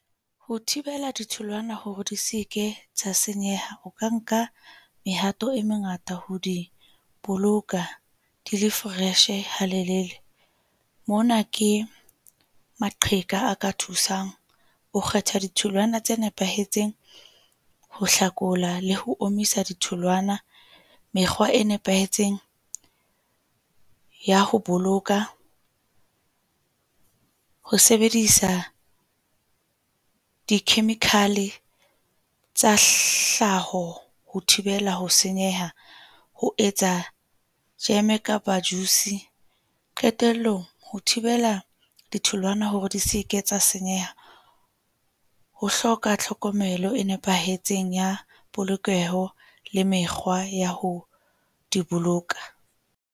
Ho thibela ditholwana hore di se ke tsa senyeha, o ka nka mehato e mengata ho di boloka di le fresh-e halelele. Mona ke maqheka a ka thusang o kgetha ditholwana tse nepahetseng, ho hlakola le ho omisa ditholwana. Mekgwa e nepahetseng ya ho boloka. Ho sebedisa di-chemical tsa hlaho ho thibela ho senyeha, ho etsa jeme kapa juice-e qetellong, ho thibela ditholwana hore di se ke tsa senyeha. Ho hloka tlhokomelo e nepahetseng ya polokeho le mekgwa ya ho di boloka.